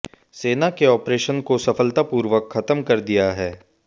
सेना ने ऑपरेशन को सफलतापूर्वक खत्म कर दिया है